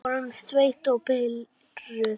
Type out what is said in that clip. Við vorum svekkt og pirruð.